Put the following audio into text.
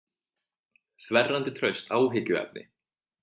Þverrandi traust áhyggjuefni